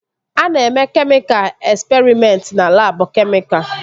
A na-eme kemịka esperịmentị na labụ kemịka